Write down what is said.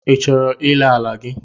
I chọrọ ire ala gị?